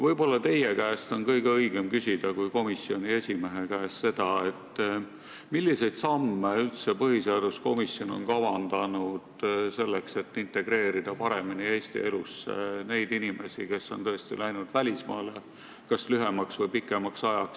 Võib-olla teie käest kui komisjoni esimehe käest on kõige õigem küsida, milliseid samme põhiseaduskomisjon on kavandanud selleks, et integreerida paremini Eesti elusse inimesi, kes on läinud välismaale lühemaks või pikemaks ajaks.